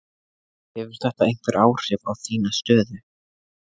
Hefur þetta einhver áhrif á þína stöðu?